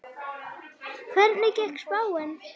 Hvernig gekk spáin upp?